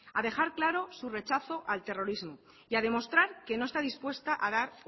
a dejar claro su rechazo al terrorismo y a demostrar que no está dispuesta a dar